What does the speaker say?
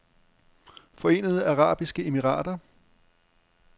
Forenede Arabiske Emirater